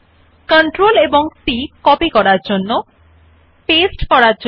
there are shortcut keys available for these options as well CTRLC to copy and CTRLV to paste